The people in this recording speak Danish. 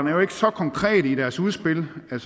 er jo ikke så konkrete i deres udspil det